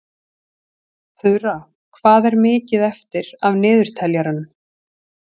Þura, hvað er mikið eftir af niðurteljaranum?